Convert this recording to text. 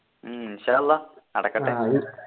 ഉം നടക്കട്ടെ